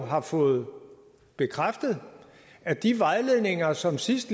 har fået bekræftet at de vejledninger som sidst